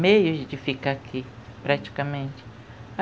Meios de ficar aqui, praticamente.